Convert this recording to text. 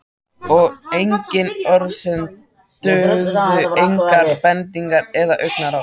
Og engin orð sem dugðu, engar bendingar eða augnaráð.